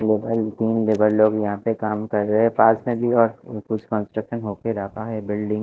मकान तीन लेबर लोग यहाँ पे काम कर रहे है पास में भी कुछ कंस्ट्रक्शन हो के जाता है बिल्डिंग --